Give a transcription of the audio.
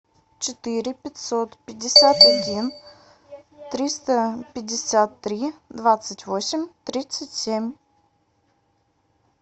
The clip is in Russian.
четыре пятьсот пятьдесят один триста пятьдесят три двадцать восемь тридцать семь